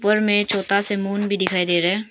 बगल में छोटा सा मून भी दिखाई दे रहा है।